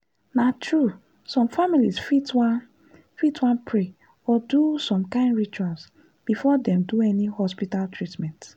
na true some families fit wan fit wan pray or do some kind rituals before dem do any hospital treatment.